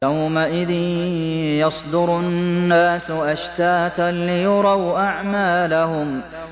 يَوْمَئِذٍ يَصْدُرُ النَّاسُ أَشْتَاتًا لِّيُرَوْا أَعْمَالَهُمْ